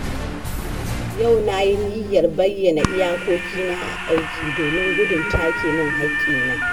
Yau na yi niyyar bayyana iyakokina a aiki, domin gudun take mun haƙƙina.